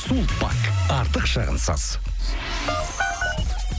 сулпак артық шығынсыз